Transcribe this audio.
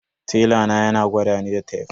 Tela na yana gwadani da tef.